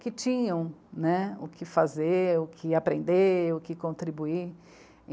que tinham, né, o que fazer, o que aprender, o que contribuir.